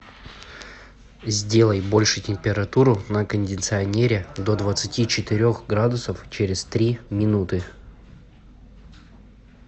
сделай больше температуру на кондиционере до двадцати четырех градусов через три минуты